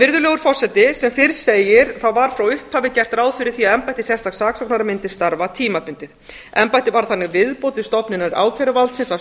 virðulegur forseti sem fyrr segir var frá upphafi gert ráð fyrir því að embætti sérstaks saksóknara mundi starfa tímabundið embættið var þannig viðbót við stofnanir ákæruvaldsins af